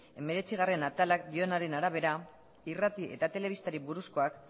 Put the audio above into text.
hemeretzigarrena atalak dioenaren arabera irrati eta telebistari buruzkoak